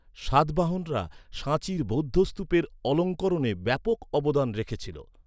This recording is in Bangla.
সাতবাহনরা সাঁচির বৌদ্ধ স্তূপের অলঙ্করণে ব্যাপক অবদান রেখেছিল।